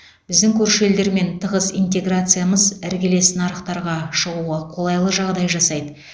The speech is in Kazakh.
біздің көрші елдермен тығыз интеграциямыз іргелес нарықтарға шығуға қолайлы жағдай жасайды